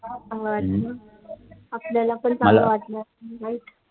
अजून हम्म आपल्याला पण काल वाटल वाईट